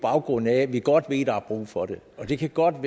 baggrund af at vi godt ved at der er brug for det det kan godt